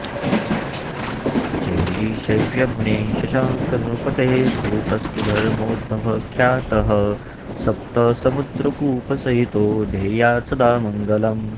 जैगीषव्यमुनेः शशाङ्कनृपतेः कूपस्तु धर्मोद्भवः ख्यातः सप्तसमुद्रकूपसहितो देयात्सदा मङ्गलम्